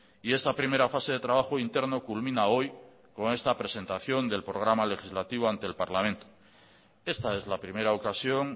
y esta primera fase de trabajo interno culmina hoy con esta presentación del programa legislativo ante el parlamento esta es la primera ocasión